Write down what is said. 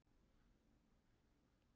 Ónefnd kona: Nei.